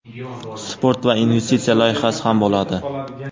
Sport va investitsiya loyihasi ham bo‘ladi.